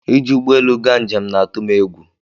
ị ji ụgbọelu ga njem na atụ m egwu